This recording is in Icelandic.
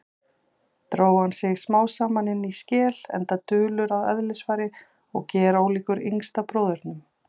Dró hann sig smámsaman inní skel, enda dulur að eðlisfari og gerólíkur yngsta bróðurnum.